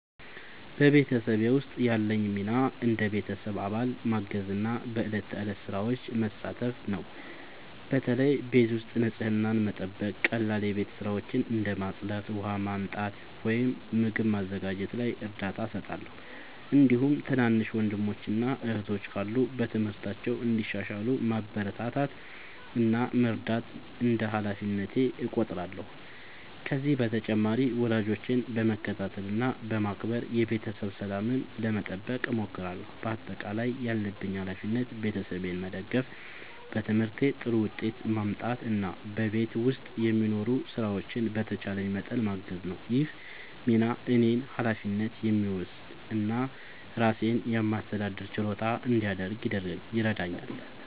በቤተሰቤ ውስጥ ያለኝ ሚና እንደ ቤተሰብ አባል ማገዝና በዕለት ተዕለት ሥራዎች መሳተፍ ነው። በተለይ ቤት ውስጥ ንጽህናን መጠበቅ፣ ቀላል የቤት ሥራዎችን እንደ ማጽዳት፣ ውሃ ማመጣት ወይም ምግብ ማዘጋጀት ላይ እርዳታ እሰጣለሁ። እንዲሁም ትናንሽ ወንድሞችና እህቶች ካሉ በትምህርታቸው እንዲሻሻሉ ማበረታታት እና መርዳት እንደ ሃላፊነቴ እቆጥራለሁ። ከዚህ በተጨማሪ ወላጆቼን በመከታተል እና በማክበር የቤተሰብ ሰላምን ለመጠበቅ እሞክራለሁ። በአጠቃላይ ያለብኝ ሃላፊነት ቤተሰቤን መደገፍ፣ በትምህርቴ ጥሩ ውጤት ማምጣት እና በቤት ውስጥ የሚኖሩ ሥራዎችን በተቻለኝ መጠን ማገዝ ነው። ይህ ሚና እኔን ኃላፊነት የሚወስድ እና ራሴን የማስተዳደር ችሎታ እንዲያድግ ይረዳኛል።